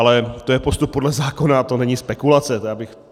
Ale to je postup podle zákona, to není spekulace.